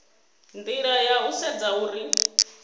nila ya u sedza uri